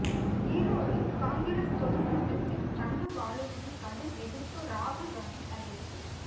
ஈரோடு காங்கிரஸ் பொதுக் கூட்டத்தில் தங்கபாலுவுக்கு கடும் எதிர்ப்பு ராகுல் காந்தி அதிர்ச்சி